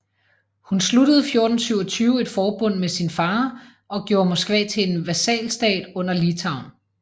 Hun sluttede 1427 et forbund med sin far og gjorde Moskva til en vasalstat under Litauen